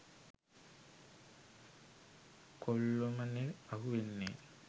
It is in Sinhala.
කොල්ලොමනේ අහු වෙන්නේ.